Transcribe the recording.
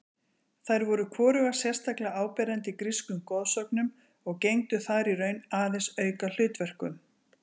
Þær voru hvorugar sérstaklega áberandi í grískum goðsögnum og gegndu þar í raun aðeins aukahlutverkum.